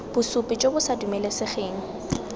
bosupi jo bo sa dumelesegeng